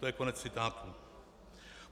To je konec citátu.